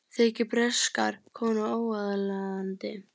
Þykir breskar konur óaðlaðandi